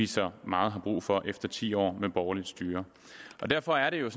så meget brug for efter ti år med borgerligt styre derfor er det jo